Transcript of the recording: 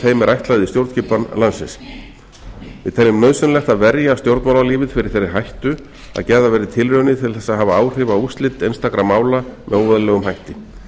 ætlað í stjórnskipan landsins við teljum nauðsynlegt að verja stjórnmálalífið fyrir þeirri hættu að gerðar verði tilraunir til þess að hafa áhrif á úrslit einstakra mála með óeðlilegum hætti